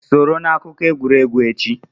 Soro na akụkọ egwuregwu echi!